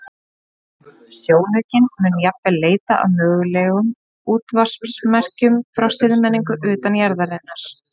Sjónaukinn mun jafnvel leita að mögulegum útvarpsmerkjum frá siðmenningu utan jarðarinnar.